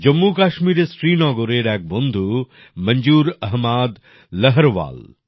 জম্মুকাশ্মীরের শ্রীনগরের এক বন্ধু মঞ্জুর আহমাদ লরহওয়াল